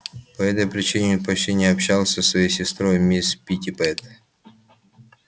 по этой причине он почти не общался со своей сестрой мисс питтипэт